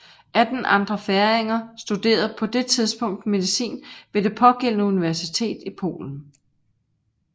Atten andre færinger studerede på det tidspunkt medicin ved det pågældende universitet i Polen